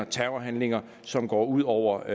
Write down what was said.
terrorhandlinger som går ud over